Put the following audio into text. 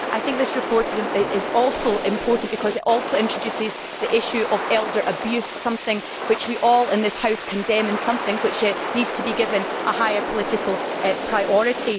This report is also important because it introduces the issue of elder abuse, something which we in this House all condemn, and something which needs to be given a higher political priority.